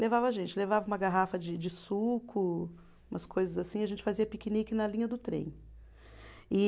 Levava a gente, levava uma garrafa de de suco, umas coisas assim, e a gente fazia piquenique na linha do trem. E